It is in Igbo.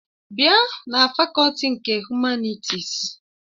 Bịa na fakọlti nke Humanịtịs!